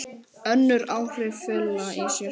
Önnur áhrif fela í sér